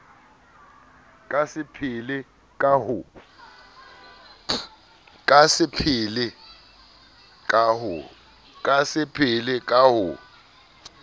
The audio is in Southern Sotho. ka se phele ka ho